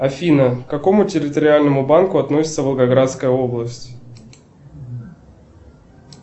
афина к какому территориальному банку относится волгоградская область